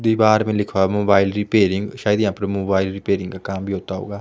दीवार में लिखा मोबाइल रिपेयरिंग शायद यहां पर मोबाइल रिपेयरिंग का काम भी होता होगा।